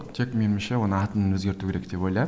тек меніңше оның атын өзгерту керек деп